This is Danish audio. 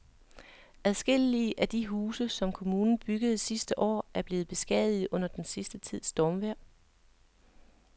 Adskillige af de huse, som kommunen byggede sidste år, er blevet beskadiget under den sidste tids stormvejr.